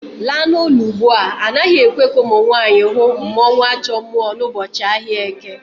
Laa n'ulo ugbua! Anaghị ekwe ka ụmụnwaanyị hụ mmụọnwAjọmmụọ n'ụbọchị ahịa Eke